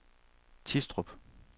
Tistrup